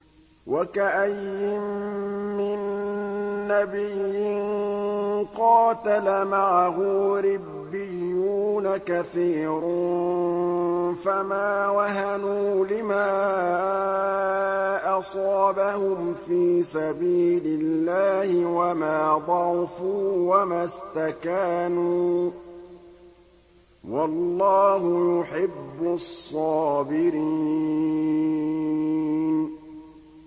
وَكَأَيِّن مِّن نَّبِيٍّ قَاتَلَ مَعَهُ رِبِّيُّونَ كَثِيرٌ فَمَا وَهَنُوا لِمَا أَصَابَهُمْ فِي سَبِيلِ اللَّهِ وَمَا ضَعُفُوا وَمَا اسْتَكَانُوا ۗ وَاللَّهُ يُحِبُّ الصَّابِرِينَ